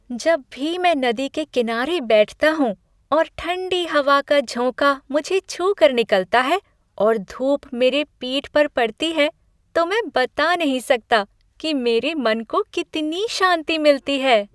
जब भी मैं नदी के किनारे बैठता हूँ और ठंडी हवा का झोंका मुझे छू कर निकलता है और धूप मेरे पीठ पर पड़ती है, तो मैं बता नहीं सकता कि मेरे मन को कितनी शांति मिलती है।